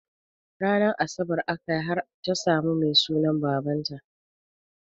Ranar asabar akayi har ta samun Mai sunan babata